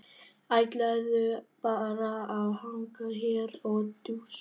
Ætlarðu bara að hanga hér og djúsa?